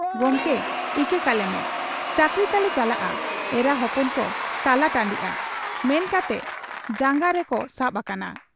ᱜᱚᱢᱠᱮ ᱤᱠᱟᱹ ᱠᱟᱞᱮᱢᱮ ᱾ ᱪᱟᱹᱠᱨᱤ ᱛᱟᱞᱮ ᱪᱟᱞᱟᱜ ᱟ, ᱮᱨᱟ ᱦᱚᱯᱚᱱ ᱠᱚ ᱛᱟᱞᱟᱴᱟᱺᱰᱤᱜ ᱟ' ᱼᱼ ᱢᱮᱱ ᱠᱟᱛᱮ ᱡᱟᱝᱜᱟ ᱨᱮᱠᱚ ᱥᱟᱵ ᱟᱠᱟᱱᱟ,